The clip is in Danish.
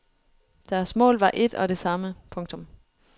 Deres mål var et og det samme. punktum